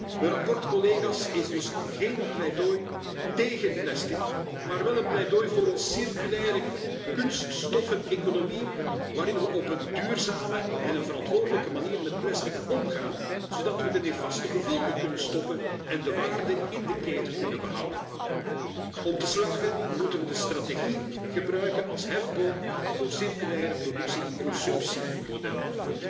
Mijn verslag is dus geen pleidooi tégen plastic, maar wel een pleidooi voor een circulaire kunstoffeneconomie, waarin we op een duurzame en verantwoordelijke manier met plastic omgaan, zodat we de nefaste gevolgen kunnen stoppen en de waarde in de keten kunnen behouden. Om te slagen moeten we de strategie gebruiken als hefboom voor circulaire productie en consumptiemodellen.